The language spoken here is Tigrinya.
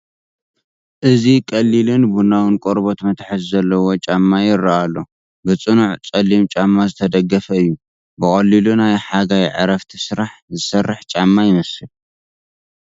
እዚ ቀሊልን ቡናዊን ቆርበት መትሓዚ ዘለዎ ጫማ ይረአ ኣሎ። ብጽኑዕ ጸሊም ጫማ ዝተደገፈ እዩ። ብቐሊሉ ናይ ሓጋይ ዕረፍቲ ስራሕ ዝሰርሕ ጫማ ይመስል።